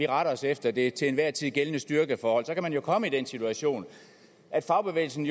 retter os efter det til enhver tid gældende styrkeforhold kan man jo komme i den situation at fagbevægelsen